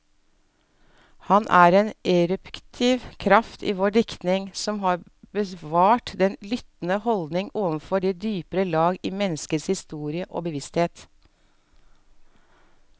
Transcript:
Han er en eruptiv kraft i vår diktning, som har bevart den lyttende holdning overfor de dypere lag i menneskets historiske bevissthet.